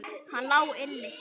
Hann lá inni!